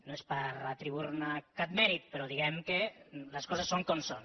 no és per atribuir ne cap mèrit però diguem ne que les coses són com són